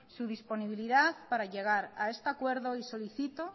su disponibilidad para llegar a este acuerdo y solicito